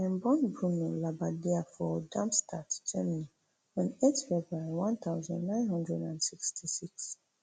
dem born bruno labbadia for darmstadt germany on eight february one thousand, nine hundred and sixty-six